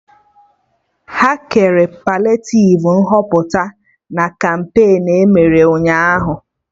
Ha kere paliativ Nhọpụta na kampain emere Ụnyaahụ